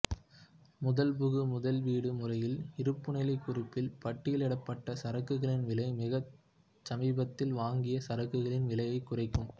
முதல்புகு முதல்விடு முறையில் இருப்புநிலைக் குறிப்பில் பட்டியலிடப்பட்ட சரக்குகளின் விலை மிகச் சமீபத்தில் வாங்கிய சரக்குகளின் விலையைக் குறிக்கும்